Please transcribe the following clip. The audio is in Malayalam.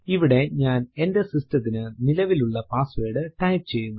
ഇവിടെ ഞാൻ എന്റെ സിസ്ടത്തിന്റെ നിലവിലുള്ള പാസ്സ്വേർഡ് ടൈപ്പ് ചെയ്യുന്നു